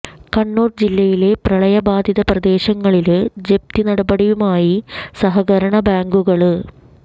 കണ്ണൂര് ജില്ലയിലെ പ്രളയബാധിത പ്രദേശങ്ങളില് ജപ്തി നടപടിയുമായി സഹകരണ ബാങ്കുകള്